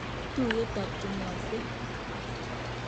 Tuyet tab chenyose